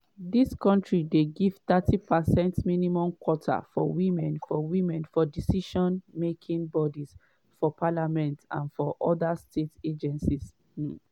dis kontris dey give thirty percent minimum quota for women for women for decision-making bodies for parliament and for oda state agencies. um